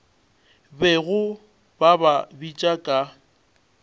bego ba ba bitša ka